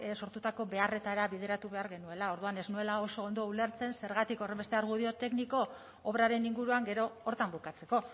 sortutako beharretara bideratu behar genuela orduan ez nuela oso ondo ulertzen zergatik horrenbeste argudio tekniko obraren inguruan gero horretan bukatzeko